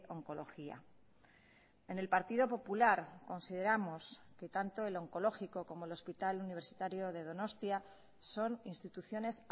oncología en el partido popular consideramos que tanto el oncológico como el hospital universitario de donostia son instituciones